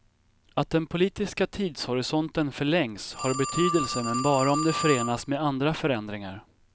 Att den politiska tidshorisonten förlängs har betydelse men bara om det förenas med andra förändringar.